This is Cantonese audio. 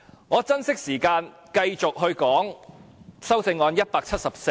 我珍惜時間，繼續就修正案編號174發言。